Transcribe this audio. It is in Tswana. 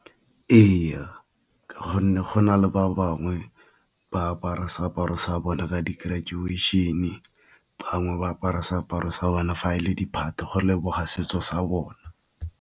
Ee, ka gonne go na le ba bangwe ba apara seaparo sa bona ka di-graduation-e, bangwe ba apara seaparo sa bone fa e le di-party go leboga setso sa bone.